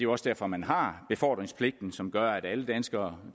også derfor man har befordringspligten som gør at alle danskere